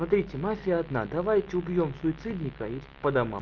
смотрите мафия одна давайте убьём суицидника и по домам